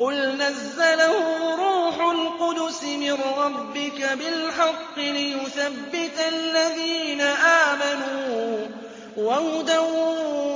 قُلْ نَزَّلَهُ رُوحُ الْقُدُسِ مِن رَّبِّكَ بِالْحَقِّ لِيُثَبِّتَ الَّذِينَ آمَنُوا وَهُدًى